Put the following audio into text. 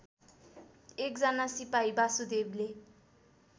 एकजना सिपाही वासुदेवले